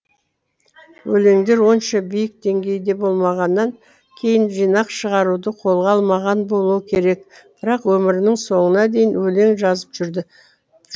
өлеңдер онша биік деңгейде болмағаннан кейін жинақ шығаруды қолға алмаған болуы керек бірақ өмірінің соңына дейін өлең жазып жүрді